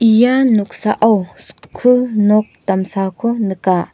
ia noksao skul nok damsako nika.